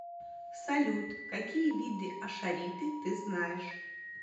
салют какие виды ашариты ты знаешь